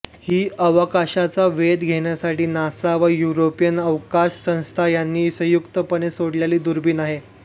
ही अवकाशाचा वेध घेण्यासाठी नासा व युरोपियन अवकाश संस्था यांनी संयुक्तपणे सोडलेली दुर्बिण आहे